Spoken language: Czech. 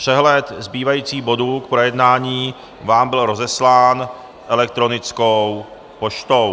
Přehled zbývajících bodů k projednání vám byl rozeslán elektronickou poštou.